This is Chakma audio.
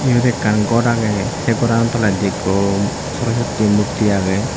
ibot ekkan gor agey se gorano toledi ekko sorosotti mukti age.